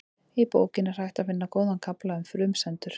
Í bókinni er hægt að finna góðan kafla um frumsendur.